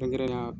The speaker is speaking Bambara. Kɛrɛnkɛrɛnnenya